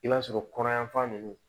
I b'a sɔrɔ kɔnɔ yanfan nunnu